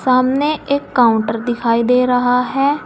सामने एक काउंटर दिखाई दे रहा है।